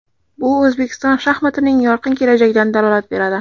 Bu O‘zbekiston shaxmatining yorqin kelajagidan dalolat beradi.